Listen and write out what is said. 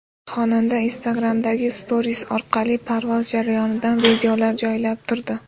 Xonanda Instagram’dagi Stories orqali parvoz jarayonidan videolar joylab turdi.